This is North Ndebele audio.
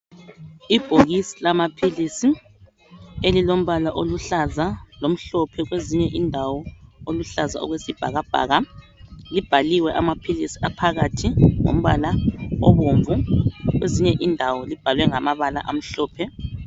Ibhokisi lamaphilisi elilombala oluhlaza, lomhlophe kwezinye indawo oluhlaza okwesibhakabhaka. Libhaliwe amaphilizi aphakathi ngombala obomvu kwezinye indawo libhalwe ngamabala amhlophe.